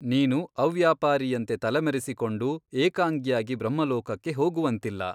ನೀನು ಅವ್ಯಾಪಾರಿಯಂತೆ ತಲೆಮರೆಸಿ ಕೊಂಡು ಏಕಾಂಗಿಯಾಗಿ ಬ್ರಹ್ಮಲೋಕಕ್ಕೆ ಹೋಗುವಂತಿಲ್ಲ.